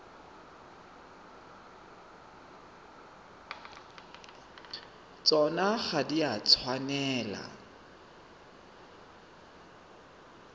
tsona ga di a tshwanela